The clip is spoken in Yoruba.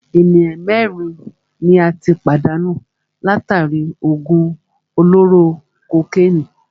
Ènìyàn mẹ́rin ni a tí pàdánù látàri í òògùn olóró kokénìí.